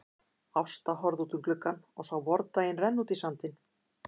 Ásta horfði út um gluggann og sá vordaginn renna út í sandinn.